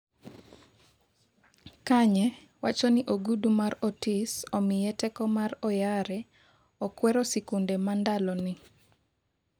Kanye wacho ni ogudu mar Otis omiye teko mar Oyare, okwero sikunde ma ndalo ni